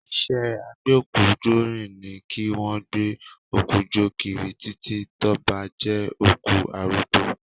Iṣẹ́ agbókújóni ni kí wọ́n gbé òkú jó kiri títì, tó bá jẹ́ òkú arúgbó